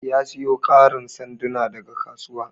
Ya siyo karin sanduna daga kasuwa.